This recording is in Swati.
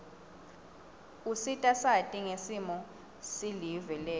usita sati ngesimo silive letfu